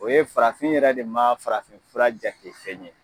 O ye farafin yɛrɛ de ma farafin fura jate fɛn ye